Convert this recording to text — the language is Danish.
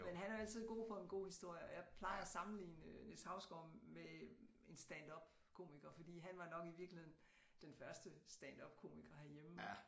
Men han er jo altid god for en god historie og jeg plejer at sammenligne Niels Hausgaard med en standupkomiker fordi han var nok i virkeligheden den første standupkomiker herhjemme